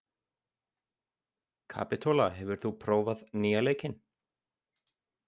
Kapitola, hefur þú prófað nýja leikinn?